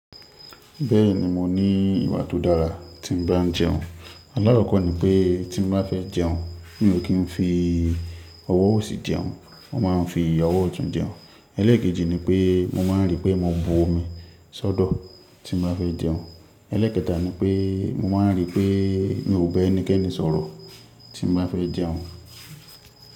Bẹ́ẹ̀ni mo ní ìwà tó dára tí n bá ń jẹun. Là kọ́kọ́ ni pé tí mo bá fẹ́ jẹun, mi ò kí ń fi ọwọ́ òsì jẹun, mo máa ń fi ọwọ́ ọ̀tún jẹun. Elékejì ni pé mo máa ń rí pé mo bo omi ṣódò tí mo bá fẹ́ jẹun. Elékẹtà ni pé mo máa ń rí pé mi ò ba ẹnikẹ́ni sọ̀rọ̀ tí mo bá fẹ́ jẹun.